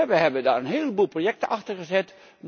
We hebben daar een heleboel projecten achter gezet.